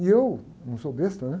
E eu, não sou besta, né?